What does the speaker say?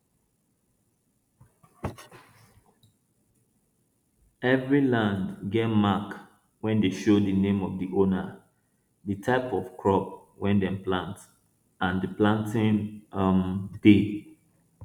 every land get mark wey dey show di name of di owner di type of crop wey dem plant and di planting um day